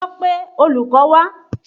Lọ pé olùkọ́ wá!